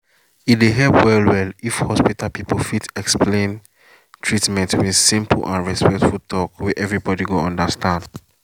e dey help well well if hospital people fit explain treatment with simple and respectful talk wey everybody go understand.